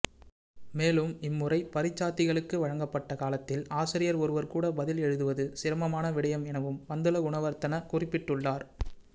மேலும் இம்முறை பரீட்சாத்திகளுக்கு வழங்கப்பட்ட காலத்தில் ஆசிரியர் ஒருவர் கூட பதில் எழுதுவது சிரமமான விடயம் எனவும் பந்துலகுணவர்தன குறிப்பிட்டுள்ளார்